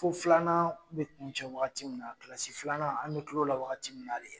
Fo filanan bɛ kun cɛ waagati min na, kilasi filanan an bɛ kile o la waagati min na de